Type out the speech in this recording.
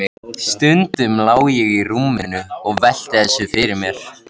Stundum lá ég í rúminu og velti þessu fyrir mér.